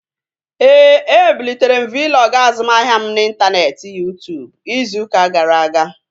Éè, e bulitere m Vlog azụmahịa m n'intaneeti Yuu-tụụbụ izu ụka gara aga